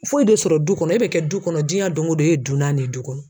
Foyi tɛ sɔrɔ du kɔnɔ e bɛ kɛ du kɔnɔ diɲɛ don ko don e ye dunan de ye du kɔnɔ.